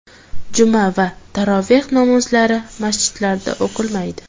Juma va taroveh namozlari masjidlarda o‘qilmaydi.